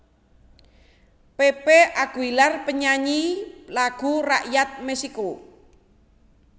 Pepe Aguilar panyanyi lagu rakyat Meksico